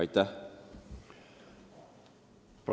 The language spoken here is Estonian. " Aitäh!